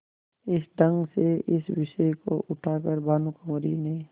इस ढंग से इस विषय को उठा कर भानुकुँवरि ने